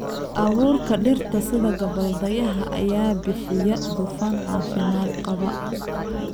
Abuurka dhirta sida gabbaldayaha ayaa bixiya dufan caafimaad qaba.